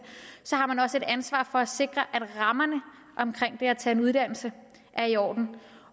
så har man også et ansvar for at sikre at rammerne omkring det at tage en uddannelse er i orden